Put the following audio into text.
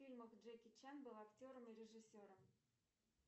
фильмах джеки чан был актером и режиссером